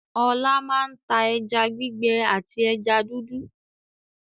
Ọlá máa ń ta ẹja gbígbẹ àti ẹja dúdú.